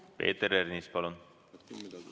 Peeter Ernits, palun!